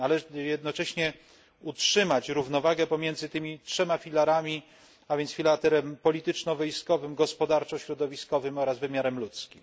Należy jednocześnie utrzymać równowagę pomiędzy tymi trzema filarami, a więc filarem polityczno wojskowym, gospodarczo środowiskowym oraz wymiarem ludzkim.